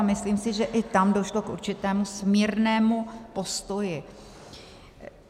A myslím si, že i tam došlo k určitému smírnému postoji.